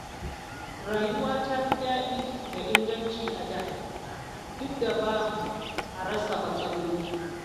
Rayuwa ta fi daɗi da inganci a da, duk da ba a rasa matsaloli.